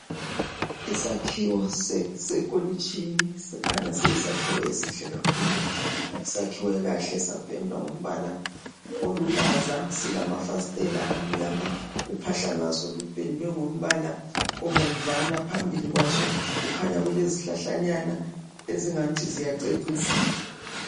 isakhiwo sekolitshini sikhanya siyisakhiwo esihle kakhulu sakhiwe kahle sapendwa ngombala olulaza silafasitela amnyama uphahla lwaso lupendwe ngombala obomvana phambili kwaso kukhanya kulezihlahlanyana ezingathi ziyacecisa